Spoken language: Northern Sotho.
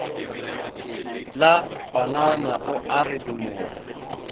la panana o a redimoga